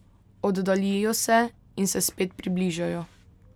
Oddaljijo se in se spet približajo.